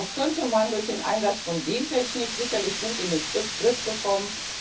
Das könnte man durch den Einsatz von Gentechnik sicherlich gut in den Griff bekommen.